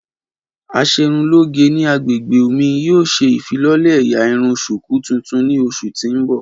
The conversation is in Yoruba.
Aṣerunlòge ni agbegbeọ́ mi yoo ṣe ifilọlẹ ẹ́yá irun shuku tuntun ni oṣu ti n bọ.